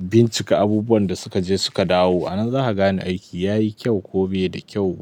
bincika abubuwan da suka je suka dawo. Anan za ka gane aiki yayi kyau ko bai da kyau.